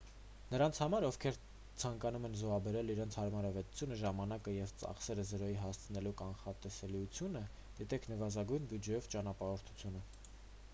նրանց համար ովքեր ցանկանում են զոհաբերել իրենց հարմարավետությունը ժամանակը և ծախսերը զրոյի հասցնելու կանխատեսելիությունը դիտեք նվազագույն բյուջեով ճանապարհորդությունը